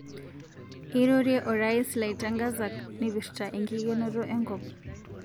Eirorie orais laitangazak naipirta enkikenoto enkop